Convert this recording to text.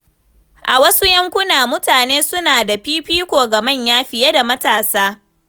A wasu yankuna, mutane suna ba da fifiko ga manya fiye da matasa.